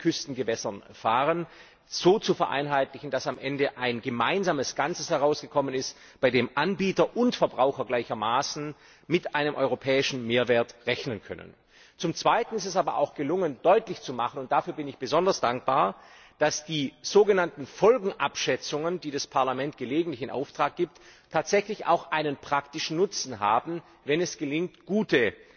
Küstengewässern fahren so zu vereinheitlichen, dass am Ende ein gemeinsames Ganzes herausgekommen ist, bei dem Anbieter und Verbraucher gleichermaßen mit einem europäischen Mehrwert rechnen können. Zum Zweiten ist es aber auch gelungen, deutlich zu machen und dafür bin ich besonders dankbar dass die sogenannten Folgenabschätzungen, die das Parlament gelegentlich in Auftrag gibt, tatsächlich auch einen praktischen Nutzen haben, wenn es gelingt, gute